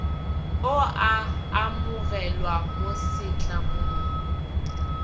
o a amogelwa mo setlamong